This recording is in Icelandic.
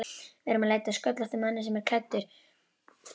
Við erum að leita að sköllóttum manni sem er klædd